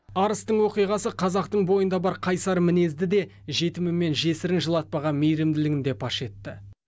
арыстың оқиғасы қазақтың бойында бар қайсар мінезді де жетімі мен жесірін жылатпаған мейірімділігін де паш етті